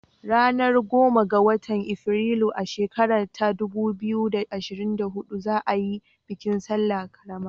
Ranar goma ga watan Afrilu, a shekara ta dubu biyu da ashrin da hudu za a yi bikin salla ƙarama